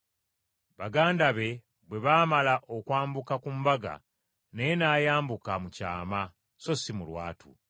Baganda be bwe bamala okwambuka ku mbaga naye n’ayambuka, mu kyama so si mu lwatu.